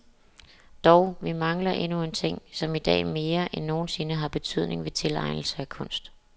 Dog, vi mangler endnu en ting, som i dag mere end nogensinde har betydning ved tilegnelse af kunst.